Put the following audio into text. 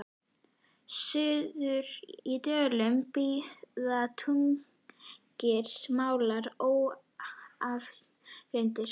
Suður í Dölum bíða tugir mála óafgreidd.